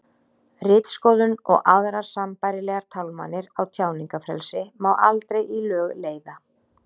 ritskoðun og aðrar sambærilegar tálmanir á tjáningarfrelsi má aldrei í lög leiða